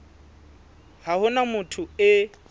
ha ho na motho e